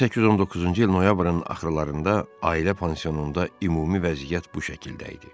1819-cu il noyabrın axırlarında ailə pansionunda ümumi vəziyyət bu şəkildə idi.